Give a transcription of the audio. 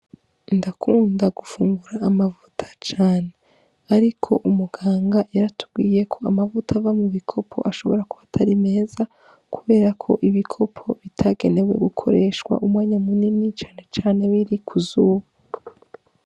Ndakunda gufungura amavuta cane, ariko umuganga yaratubwiye ko amavuta ava mu bikopo ashobora kubatari meza, kubera ko ibikopo bitagenewe gukoreshwa umwanya munini canecane biri kuzubu.